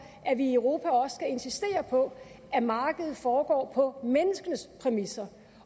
at vi i europa også skal insistere på at markedet foregår på menneskenes præmisser